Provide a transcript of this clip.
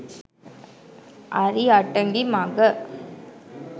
අරි අටඟි මඟ